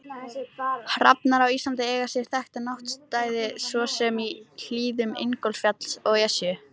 Hrafnar á Íslandi eiga sér þekkta náttstaði svo sem í hlíðum Ingólfsfjalls og Esju.